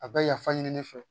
A bɛ yafa ɲini ne fɛ